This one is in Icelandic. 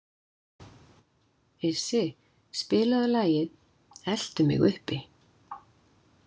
Issi, spilaðu lagið „Eltu mig uppi“.